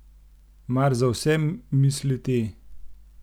Mar z vsem misli te?